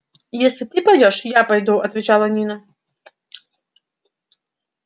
если ты пойдёшь я пойду отвечала нина